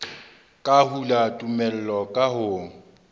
ka hula tumello ka ho